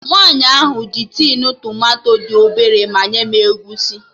Nwaanyi ahụ ji tin tomato dị obele manye m egusi